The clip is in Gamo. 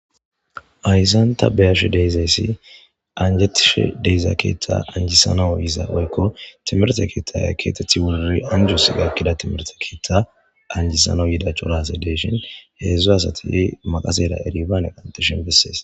Hayssan ta be'ashe dizayssa anjetishe diza keththa anjisanaw woykko timirtte keththa anjisanaw yida cora asay dishshin hezhzhu asat maqassen pestale qanxxishshin besses